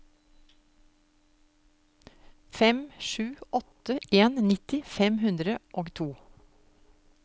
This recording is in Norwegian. fem sju åtte en nitti fem hundre og to